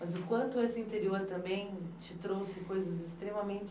Mas o quanto esse interior também te trouxe coisas extremamente...